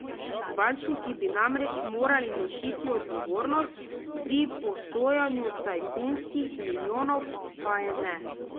Bančniki bi namreč morali nositi odgovornost pri posojanju tajkunskih milijonov, pa je ne.